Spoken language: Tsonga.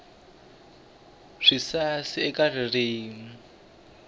swisasi eka ririmi